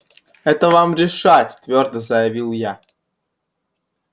это вам решать твёрдо заявил я